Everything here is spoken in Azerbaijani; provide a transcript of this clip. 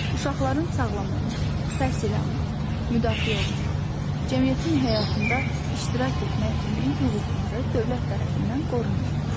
Uşaqların sağlam olmaq, təhsil almaq, müdafiə olunmaq, cəmiyyətin həyatında iştirak etmək kimi hüquqları dövlət tərəfindən qorunur.